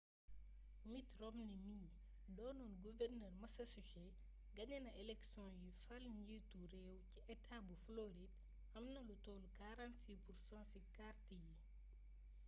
mitt romney mii doonoon guvernër massachusetts gañena eleksioŋ yi fal njiitu réew ci etaa bu floride amna lu tollu 46% ci kart yi